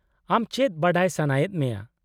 -ᱟᱢ ᱪᱮᱫ ᱵᱟᱰᱟᱭ ᱥᱟᱱᱟᱭᱮᱫ ᱢᱮᱭᱟ ?